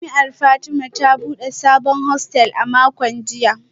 Jami’ar Fatima ta bude sabon hostel a makon jiya